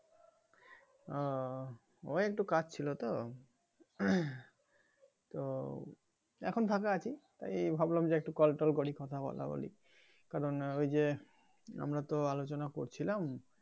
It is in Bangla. আহ ওই একটু কাজ ছিলো তো তো এখন ঢাকায় আছি তাই ভাবলাম যে একটু কলটল করি কথা বলা বলি কারন ঐযে আমরা তো আলোচনা করছিলাম ।